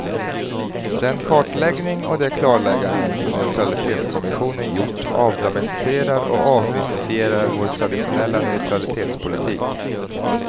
Den kartläggning och de klarlägganden som neutralitetskommissionen gjort avdramatiserar och avmystifierar vår traditionella neutralitetspolitik.